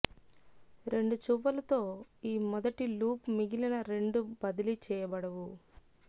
రెండు చువ్వలు తో ఈ మొదటి లూప్ మిగిలిన రెండు బదిలీ చేయబడవు